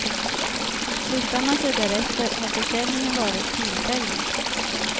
Flyttar man sig därefter, har försäljningen varit tillfällig.